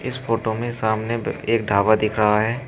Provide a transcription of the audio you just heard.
इस फोटो सामने बे एक ढ़ाबा दिख रहा है।